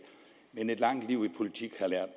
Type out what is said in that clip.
men et langt liv i politik har lært